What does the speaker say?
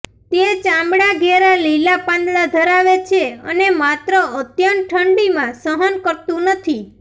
તે ચામડા ઘેરા લીલા પાંદડા ધરાવે છે અને માત્ર અત્યંત ઠંડીમાં સહન કરતું નથી